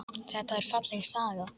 Þetta er falleg saga.